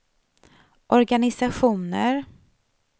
organisationer